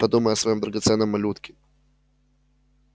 подумай о своём драгоценном малютке